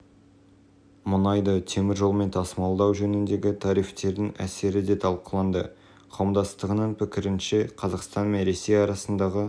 әртүрлі нұсқаларын талқылады сонымен қатар мұнайды ішкі нарыққа жеткізу кезінде салық салу жүйесін өзгерту мәселелері